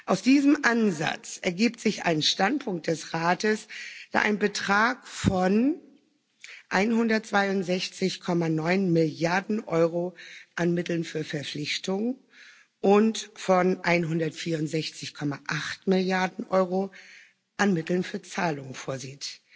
Aus diesem Ansatz ergibt sich ein Standpunkt des Rates, der einen Betrag von 162,9 Milliarden Euro an Mitteln für Verpflichtungen und von 164,8 Milliarden Euro an Mitteln für Zahlungen vorsieht.